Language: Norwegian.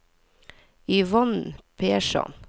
Yvonne Persson